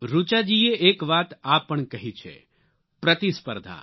ઋચાજીએ એક વાત આ પણ કહી છે પ્રતિસ્પર્ધા